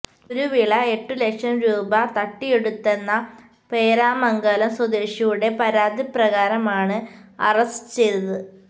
കുരുവിള എട്ടു ലക്ഷം രൂപ തട്ടിയെടുത്തെന്ന പേരാമംഗലം സ്വദേശിയുടെ പരാതി പ്രകാരമാണ് അറസ്റ്റ് ചെയ്തത്